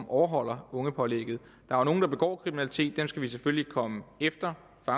overholder ungepålægget der er nogle der begår kriminalitet dem skal vi selvfølgelig komme efter og